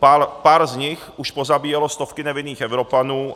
Pár z nich už pozabíjelo stovky nevinných Evropanů.